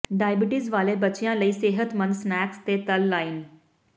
diabetes ਵਾਲੇ ਬੱਚਿਆਂ ਲਈ ਸਿਹਤਮੰਦ ਸਨੈਕਸ ਤੇ ਤਲ ਲਾਈਨ